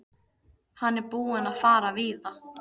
Hann er búinn að fara víða.